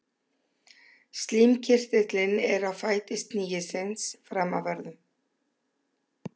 Slímkirtillinn er á fæti snigilsins framanverðum.